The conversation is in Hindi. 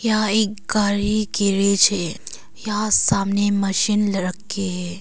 यहां एक गारी की रेस है। यहां सामने मशीन रखी है।